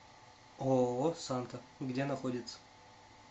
ооо санта где находится